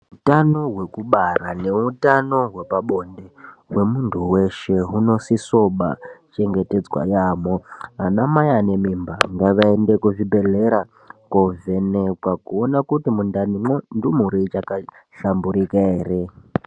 Utano hwekubara neutano hwepabonde hwemuntu weshe hunisisewo kubaa chengetedzwa yaamho. Ana mai ane mimba ngavaende kuzvibhedhlera kovhenekwa kuona kuti mundanimwo ndumure ivhakahlamburuka ere.